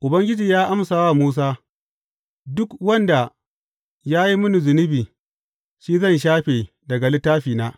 Ubangiji ya amsa wa Musa, Duk wanda ya yi mini zunubi, shi zan shafe daga littafina.